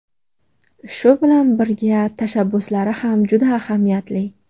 Shu bilan birga, tashabbuslari ham juda ahamiyatli.